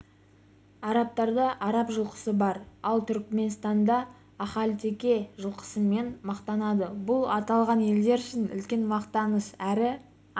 арабтарда араб жылқысы бар ал түркіменстан ахалтеке жылқысымен мақтанады бұл аталған елдер үшін үлкен мақтаныш әрі